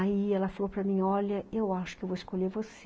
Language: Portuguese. Aí ela falou para mim, olha, eu acho que eu vou escolher você.